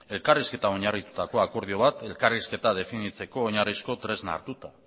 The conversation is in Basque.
elkarrizketan oinarritutako akordio bat elkarrizketa definitzeko oinarrizko tresna hartuta